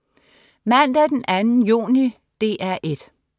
Mandag den 2. juni - DR 1: